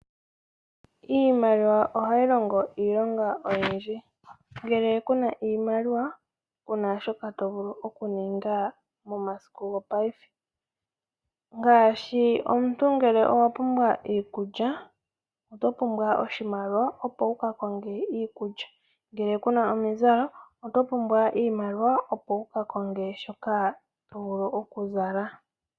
Iimaliwa ohayi longo iilonga oyindji. Ngele ku na iimaliwa, ku na shoka to vulu oku ninga momasiku gopaife. Ngaashi ngele omuntu owa pumbwa iikulya, oto pumbwa oshimaliwa opo wu ka konge iikulya nenge omizalo oto pumbwa iimaliwa opo wu ka konge shoka to vulu oku zala.